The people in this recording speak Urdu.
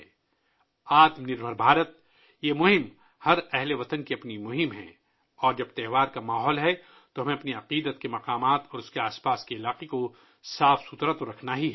'آتم نر بھر بھارت' کی یہ مہم ملک کے ہر باشندے کی اپنی مہم ہے اور تہوار کے ماحول کے دوران، ہمیں مقدس مقامات اور ان کے ارد گرد کو تو ہمیشہ کے لئے صاف رکھنا ہی ہے